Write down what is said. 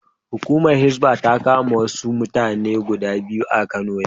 Hukumar Hisbah ta kama wasu mata guda biyu a Kano yau.